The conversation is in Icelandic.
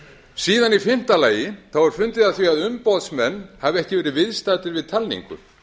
síðan í fimmta lagi er fundið að því að umboðsmenn hafi ekki verið viðstaddir við talningu